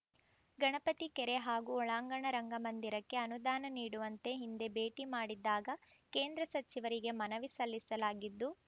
ಗಣಪತಿ ಕೆರೆ ಹಾಗೂ ಒಳಾಂಗಣ ರಂಗಮಂದಿರಕ್ಕೆ ಅನುದಾನ ನೀಡುವಂತೆ ಹಿಂದೆ ಭೇಟಿ ಮಾಡಿದ್ದಾಗ ಕೇಂದ್ರ ಸಚಿವರಿಗೆ ಮನವಿ ಸಲ್ಲಿಸಲಾಗಿದ್ದು